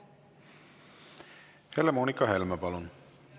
Helle-Moonika Helme, palun!